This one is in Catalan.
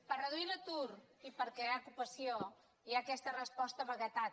per reduir l’atur i per crear ocupació hi ha aquesta resposta vaguetat